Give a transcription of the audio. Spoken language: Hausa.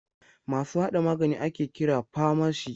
Masu haɗa magani ake kira famasi.